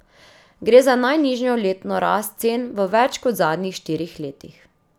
Gre za najnižjo letno rast cen v več kot zadnjih štirih letih.